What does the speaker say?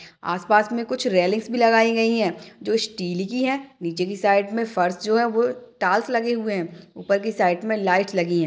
आसपास में कुछ रेलिंग्स भी लगाई गई हैं जो स्टील की है। नीचे की साइड में फर्श जो है वो टाल्स लगे हुए हैं। ऊपर की साइड में लाइट लगी है।